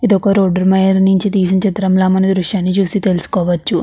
ఇది ఒక రోడ్డు నించి తీసిన దృశ్యంలా మనం ఈ దృశ్యాన్ని చూసి తెలుసుకోవచ్చు.